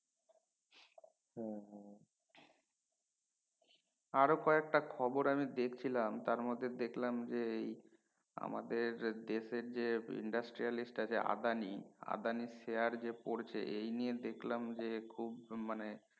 আরো কয়েকটা খবর আমি দেখছিলাম তার মধ্যে দেখলাম যে এই আমাদের দেশের যে Industrial আছে আদানি আদানির share যে পরছে এই নিয়ে দেখলাম যে খুব মানে